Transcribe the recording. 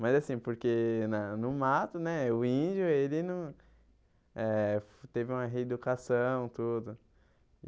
Mas assim, porque na no mato né, o índio ele não eh teve uma reeducação e tudo.